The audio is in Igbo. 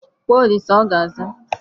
Kpọọ Olisa ọ ga-aza.